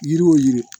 Yiri o yiri